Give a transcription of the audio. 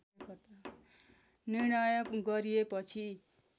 निर्णय गरिएपछि